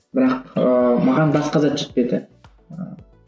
бірақ ыыы маған басқа зат жетпеді ыыы